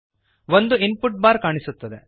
ಒಂದು input bar ಕಾಣಿಸುತ್ತದೆ